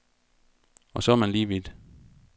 Og så er man lige vidt.